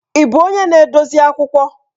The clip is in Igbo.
Ị bụ onye na-edozi akwụkwọ?